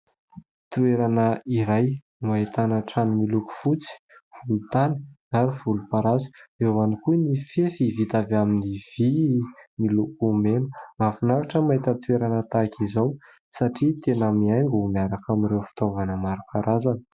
Toerana iray no ahitana trano miloko fotsy, volontany ary volomparasy ; eo ihany koa ny fefy vita avy amin'ny vy miloko mena. Mahafinaritra mahita toerana tahaka izao satria tena mihaingo miaraka amin'ireo fitaovana maro karazana.